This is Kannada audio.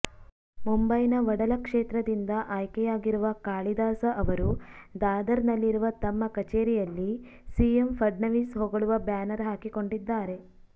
ಮುಂಬೈನ ವಡಾಲಾ ಕ್ಷೇತ್ರದಿಂದ ಆಯ್ಕೆಯಾಗಿರುವ ಕಾಳಿದಾಸ ಅವರು ದಾದರ್ ನಲ್ಲಿರುವ ತಮ್ಮ ಕಚೇರಿಯಲ್ಲಿ ಸಿಎಂ ಫಡ್ನವೀಸ್ ಹೊಗಳುವ ಬ್ಯಾನರ್ ಹಾಕಿಕೊಂಡಿದ್ದಾರೆ